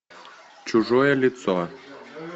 чужое лицо